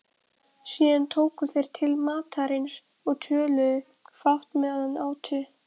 Síðan tóku þeir til matarins og töluðu fátt meðan átu.